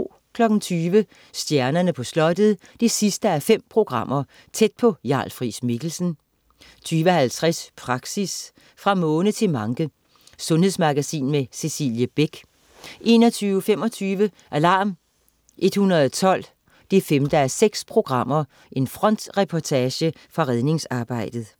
20.00 Stjernerne på Slottet 5:5. Tæt på Jarl Friis-Mikkelsen 20.50 Praxis. Fra måne til manke. Sundhedsmagasin med Cecilie Beck 21.25 Alarm 112 5:6. Frontreportage fra redningsarbejdet